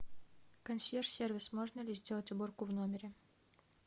консьерж сервис можно ли сделать уборку в номере